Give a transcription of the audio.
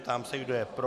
Ptám se, kdo je pro.